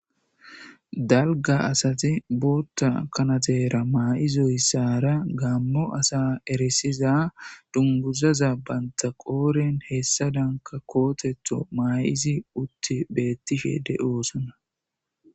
dalga asati bootta kanatera maa7izoyssara gammo asa erisiza dunguzaza banta qooren hessa danka kootetho maa7isi utti beettishe de7oosona